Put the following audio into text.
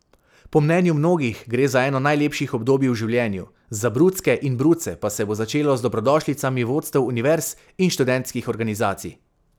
Po mnenju mnogih gre za eno najlepših obdobij v življenju, za brucke in bruce pa se bo začelo z dobrodošlicami vodstev univerz in študentskih organizacij.